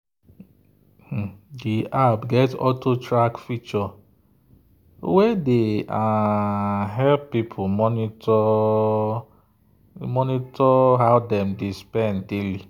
the app get auto-track feature wey dey um help people monitor um how dem dey spend daily.